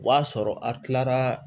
O b'a sɔrɔ a kilara